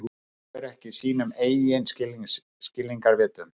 Trúir ekki sínum eigin skilningarvitum.